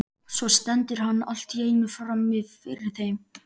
Svo stendur hann allt í einu frammi fyrir þeim.